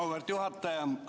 Auväärt juhataja!